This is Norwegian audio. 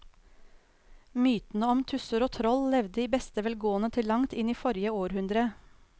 Mytene om tusser og troll levde i beste velgående til langt inn i forrige århundre.